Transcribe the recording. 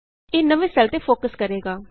ਇਹ ਨਵੇ ਸੈੱਲ ਤੇ ਫੋਕਸ ਕਰੇਗਾ